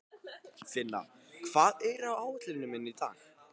Finna, hvað er á áætluninni minni í dag?